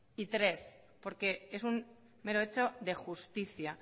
y tres porque es un mero hecho de justicia